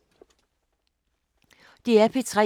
DR P3